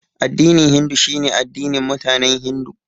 Addinin Hindu shine addinin mutanen Hindu.